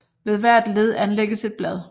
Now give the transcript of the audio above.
Ved hvert led anlægges et blad